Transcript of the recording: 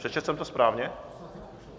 Přečetl jsem to správně?